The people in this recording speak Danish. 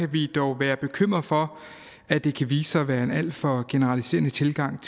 vi dog være bekymret for at det kan vise sig at være en alt for generaliserende tilgang